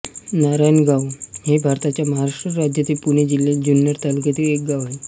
नारायणगाव हे भारताच्या महाराष्ट्र राज्यातील पुणे जिल्ह्यातील जुन्नर तालुक्यातील एक गाव आहे